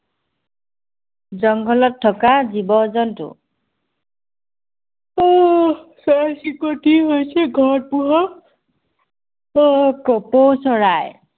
জংঘলত থকা জীৱ জন্তু। আহ চৰাই চিৰিকতি হৈছে ঘৰত পোহা কপৌ চৰাই